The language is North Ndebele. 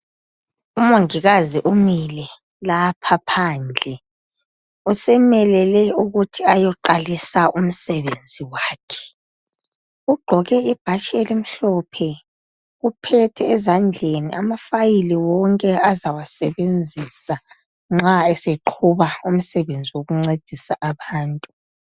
Omungikazi umile lapha pandle, usemelele ukuthi ayoqalisa umsebenzi wakhe. Ugqoke bhatshi elimhlophe. Uphethe ezandleni amafayili wonke azawasebenzisa nxa esequba wokuncedisa abantu.